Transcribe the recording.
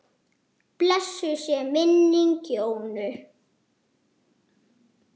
Blessuð sé minning Jónu.